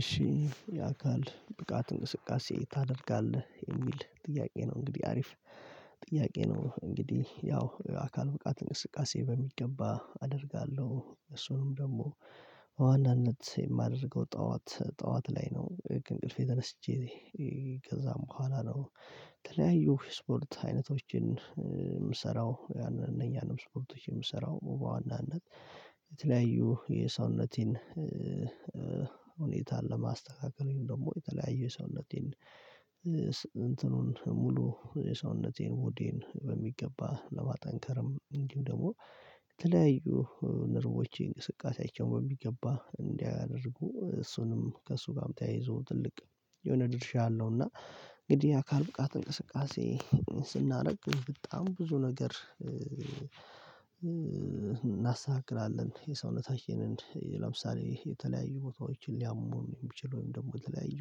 እሺ የአካል ብቃት እንቅስቃሴ ታደርጋለህ የሚል ጥያቄ ነው? እንግዲህ አሪፍ ጥያቄ ነው እንግዲህ ያው አካል ብቃት እንቅስቃሴ በሚገባ አደርጋለሁ። እሱንም ደግሞ በዋናነት የማደርገው ጠዋት ጠዋት ላይ ነው ከእንቅልፌ ተነስቼ ከዛም በኋላ ነው። የተለያዩ የስፖርት አይነቶችን የምሰራው እነያንም ስፖርቶች የምሰራው በዋናነት የተለያዩ የሰውነቴን ሁኔታን ለማስተካከል ደግሞ የተለያዩ የሰውነቴን እንትኑን ሙሉ የሰውነቴን ቦዲዬን በሚገባ ለማጠንከርም እንዲሁ ደግሞ የተለያዩ ነርቮቼ እንቅስቃሴያቸውን በሚገባ እንዲያደርጉ እሱንም ከእሱ ጋር ተያይዞ ትልቅ የሆነ ድርሻ አለው። እና እንግዲህ አካል ብቃት እንቅስቃሴ ስናደርግ በጣም ብዙ ነገር እናስተካክላለን የሰውነታችንን ለምሳሌ የተለያዩ ቦታዎችን ሊያመን የሚችል ወይም ደግሞ የተለያዩ